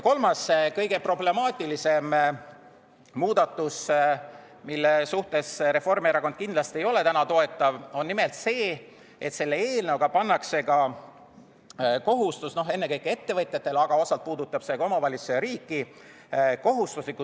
Kolmas, kõige problemaatilisem muudatus, mida Reformierakond kindlasti täna ei toeta, on nimelt see, et selle eelnõuga pannakse kohustusliku tuleohutusülevaatuse tegemise kohustus ennekõike ettevõtjatele, aga osalt puudutab see ka omavalitsusi ja riiki.